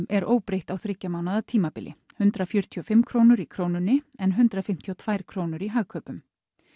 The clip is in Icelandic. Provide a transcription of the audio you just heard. er óbreytt á þriggja mánaða tímabili hundrað fjörutíu og fimm krónur í Krónunni en hundrað fimmtíu og tvær krónur í Hagkaupum